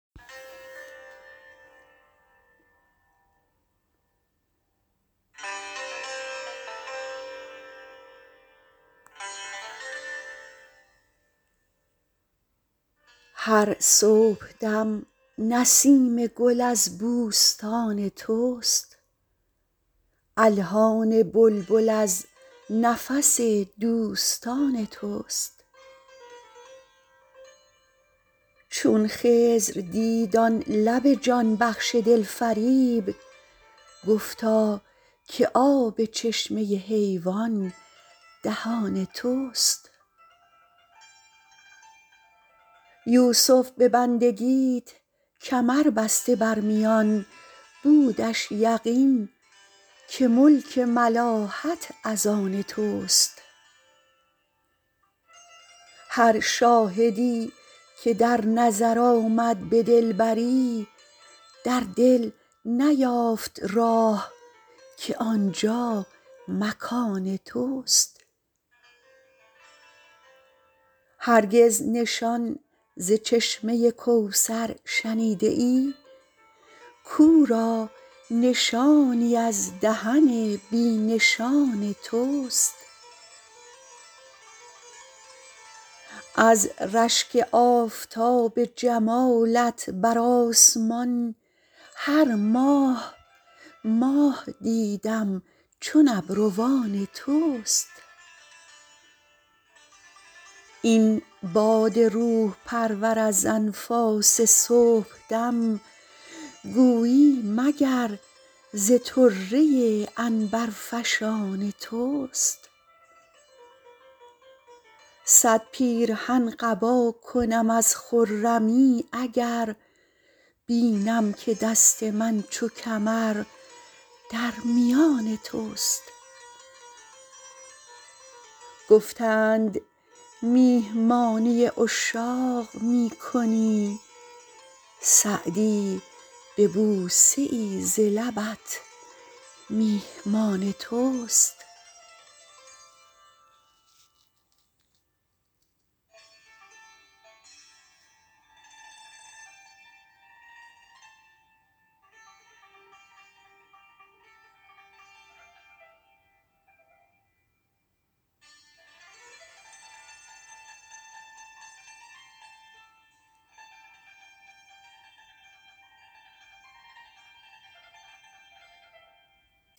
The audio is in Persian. هر صبحدم نسیم گل از بوستان توست الحان بلبل از نفس دوستان توست چون خضر دید آن لب جان بخش دلفریب گفتا که آب چشمه حیوان دهان توست یوسف به بندگیت کمر بسته بر میان بودش یقین که ملک ملاحت از آن توست هر شاهدی که در نظر آمد به دلبری در دل نیافت راه که آنجا مکان توست هرگز نشان ز چشمه کوثر شنیده ای کاو را نشانی از دهن بی نشان توست از رشک آفتاب جمالت بر آسمان هر ماه ماه دیدم چون ابروان توست این باد روح پرور از انفاس صبحدم گویی مگر ز طره عنبرفشان توست صد پیرهن قبا کنم از خرمی اگر بینم که دست من چو کمر در میان توست گفتند میهمانی عشاق می کنی سعدی به بوسه ای ز لبت میهمان توست